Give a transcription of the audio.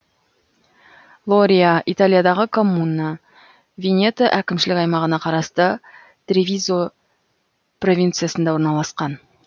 лория италиядағы коммуна венето әкімшілік аймағына қарасты тревизо провинциясында орналасқан